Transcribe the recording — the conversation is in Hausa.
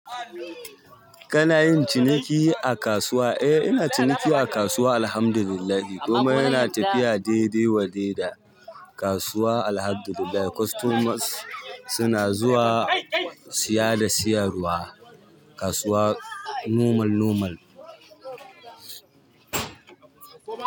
Kana yin ciniki a kasuwa? Eh, ina ciniki a kasuwa Alhamdulillahi. Komai yana tafiya dai-dai wadai da kasuwa Alhamdulillah. Customers suna zuwa siya da siyarwa. Kasuwa normal normal.